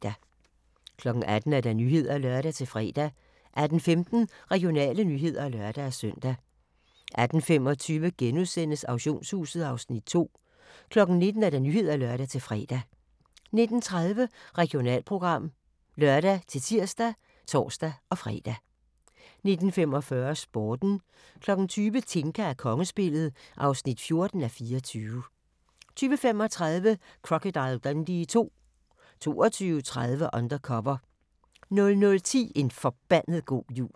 18:00: Nyhederne (lør-fre) 18:15: Regionale nyheder (lør-søn) 18:25: Auktionshuset (Afs. 2)* 19:00: Nyhederne (lør-fre) 19:30: Regionalprogram (lør-tir og tor-fre) 19:45: Sporten 20:00: Tinka og kongespillet (14:24) 20:35: Crocodile Dundee II 22:30: Undercover 00:10: En forbandet god jul